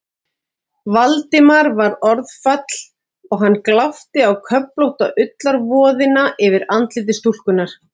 Valdimari varð orðfall og hann glápti á köflótta ullarvoðina yfir andliti stúlkunnar.